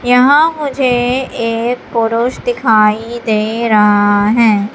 यहां मुझे एक पुरुष दिखाई दे रहा है।